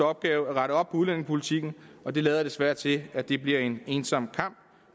opgave at rette op på udlændingepolitikken og det lader desværre til at det bliver en ensom kamp